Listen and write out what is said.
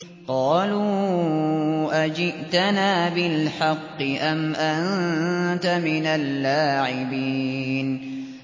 قَالُوا أَجِئْتَنَا بِالْحَقِّ أَمْ أَنتَ مِنَ اللَّاعِبِينَ